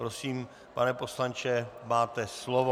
Prosím, pane poslanče, máte slovo.